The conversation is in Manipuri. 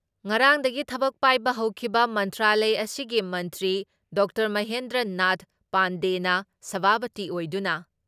ꯉꯔꯥꯡꯗꯒꯤ ꯊꯕꯛ ꯄꯥꯏꯕ ꯍꯧꯈꯤꯕ ꯃꯟꯇ꯭ꯔꯥꯂꯌ ꯑꯁꯤꯒꯤ ꯃꯟꯇ꯭ꯔꯤ ꯗꯥ ꯃꯍꯦꯟꯗ꯭ꯔ ꯅꯥꯊ ꯄꯥꯟꯗꯦꯅ ꯁꯚꯥꯄꯇꯤ ꯑꯣꯏꯗꯨꯅ